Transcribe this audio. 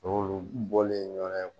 O y'olu bɔlen ɲɔan